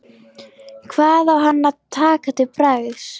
Hvað á hann að taka til bragðs?